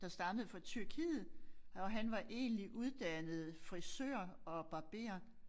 Der stammede fra Tyrkiet og han var egentlig uddannet frisør og barber